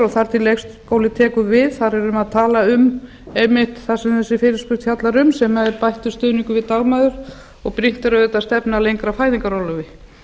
þar til leikskóli tekur við þar erum við að tala um einmitt það sem þessi fyrirspurn fjallar um sem er bættur stuðningur við dagmæður og brýnt er auðvitað að stefna að lengra fæðingarorlofi